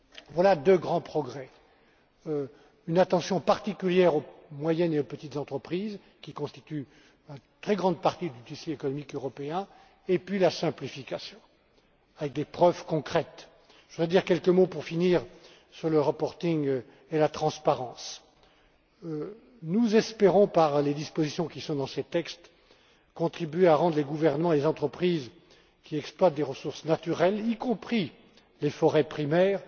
Voilà deux grands progrès une attention particulière aux moyennes et petites entreprises, qui constituent la très grande partie du tissu économique européen, et la simplification avec des preuves concrètes. Pour finir, je voudrais dire quelques mots sur le reporting et la transparence. Nous espérons, par les dispositions qui sont dans ces textes, contribuer à rendre les gouvernements et les entreprises qui exploitent des ressources naturelles, y compris des forêts primaires,